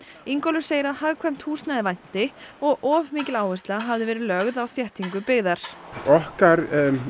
Ingólfur segir að hagkvæmt húsnæði vanti og of mikil áhersla hafi verið lögð á þéttingu byggðar okkar